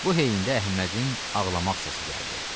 Bu heyndə Əhmədin ağlamaq səsi gəldi.